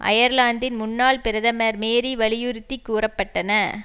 அயர்லாந்தின் முன்னாள் பிரதமர் மேரி வலியுறுத்தி கூற பட்டன